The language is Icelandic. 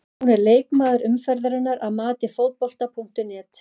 Hún er leikmaður umferðarinnar að mati Fótbolta.net.